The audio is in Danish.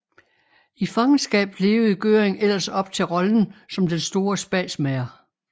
I fangenskab levede Göring ellers op til rollen som den store spasmager